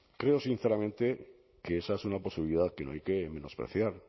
creo sinceramente que esa es una posibilidad que no hay que menospreciar